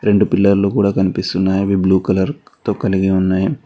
రెండు పిల్లర్లు కూడా కనిపిస్తున్నాయి అవి బ్లూ కలర్ తో కలిగి ఉన్నాయి.